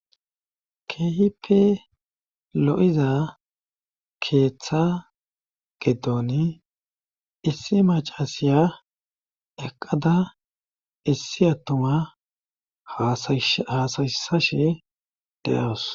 Keehipe lo'iza keeththa gedoni issi macasiya eqqada issi attuma haasayisashe deawus.